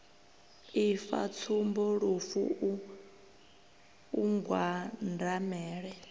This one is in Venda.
ifa tsumbo lufu u mbwandamela